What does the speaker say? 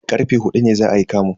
Karfe huɗu ne za ayi kamun.